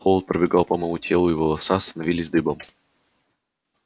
холод пробегал по моему телу и волоса становились дыбом